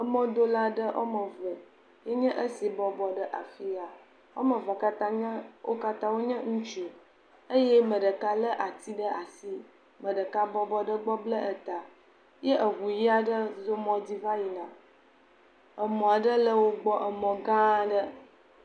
Mɔdola aɖe woame eve enye esi bɔbɔ ɖe afia, wome eve wo katã wonye ŋutsu eye ame ɖeka lé ati ɖe asi. Ame ɖeka bɔbɔ ɖe egbe bla ta ye ŋu ʋi aɖe zɔ mɔ dzi va yina. Mɔ aɖe le wo gbɔ, emɔ gã aɖe.